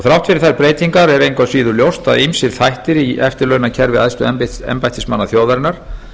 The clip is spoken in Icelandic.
þrátt fyrir þær breytingar er engu að síður ljóst að ýmsir þættir í eftirlaunakerfi æðstu embættismanna þjóðarinnar